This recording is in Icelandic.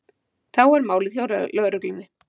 Þá er málið hjá lögreglunni